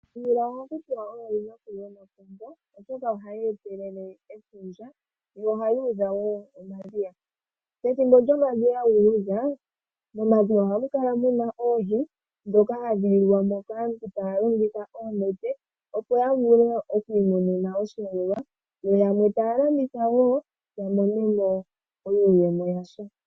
Omvula ohaku tiwa oyo yinakulu yomapongo, oshoka ohayi etelele efundja , yo ohayi udha woo omadhiya. Pethimbo lyomadhiya guudha, momadhiya ohamu kala muna oohi dhoka hadhi yugwamo kaantu taya longitha oonete opo yavule okwiimonena osheelelwa ,yo yamwe taya landitha woo yamonemo iiyemo yasha.